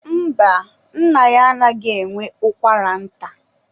mba, nna ya anaghị enwe ụkwara nta.